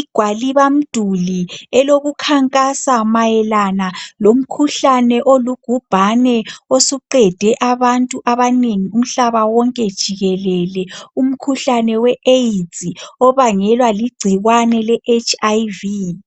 igwalibamduli elokukhankasa mayelana lomkhuhlane olubhubhane osuqede abantu abanengi umhlaba wonke jikelele ,umkhuhlane we "AIDS" obangelwa ligcikwane le "hiv" .